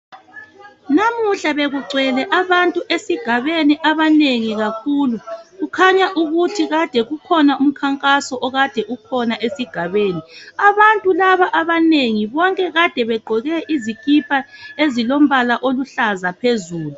Namuhla bekugcwele abantu esigabeni abanengi kakhulu. Kukhanya ukuthi ukhona umkhankaso okade ukhona esigabeni. Abantu laba abanengi bonke kade begqoke izikipa ezilombala oluhlaza phezulu.